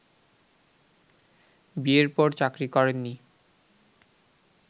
বিয়ের পর চাকরি করেননি